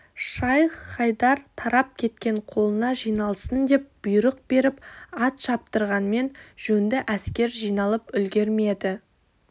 шайх-хайдар тарап кеткен қолына жиналсын деп бұйрық беріп ат шаптырғанмен жөнді әскер жиналып үлгермеді